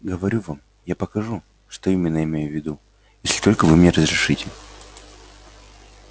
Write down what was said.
говорю вам я покажу что именно имею в виду если только вы мне разрешите